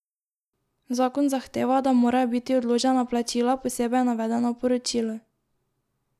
Zakon zahteva, da morajo biti odložena plačila posebej navedena v poročilu.